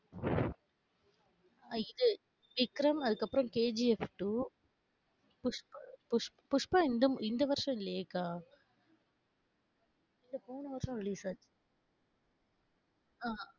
அஹ் இது விக்ரம், அதுக்கப்பறம் KGF two புஷ் புஷ்ப, புஷ்பா இந்து இந்த வருஷம் இல்லையே அக்கா. இல்ல போன வருஷம் release ஆச்சு. ஆஹ்